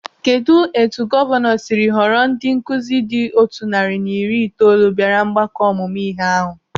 Kedụ etu gọvanọ siri họrọ ndị nkụzi dị otu narị na iri itoolu bịara ọgbakọ ọmụmụ ihe ahụ?